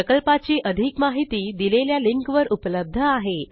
प्रकल्पाची अधिक माहिती दिलेल्या लिंकवर उपलब्ध आहे